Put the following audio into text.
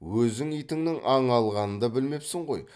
өзің итіңнің аң алғанын да білмепсің ғой